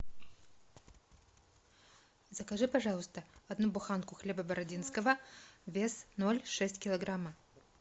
закажи пожалуйста одну буханку хлеба бородинского вес ноль шесть килограмма